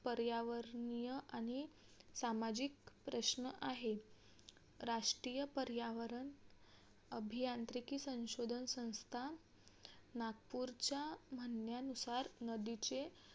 पर्यावरणीय आणि सामाजिक प्रश्न आहेत. राष्ट्रीय पर्यावरण अभियांत्रिकी संशोधन संस्था नागपूरच्या म्हणण्यानुसार नदीचे